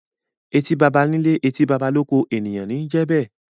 Eti bàbà ní ilé, etí bàbà l’oko; ènìyàn ní i jẹ be.